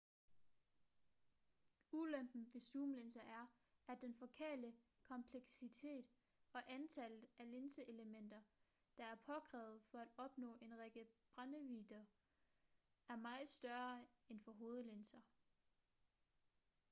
ulempen ved zoomlinser er at den fokale kompleksitet og antallet af linseelementer der er påkrævet for at opnå en række brændvidder er meget større end for hovedlinser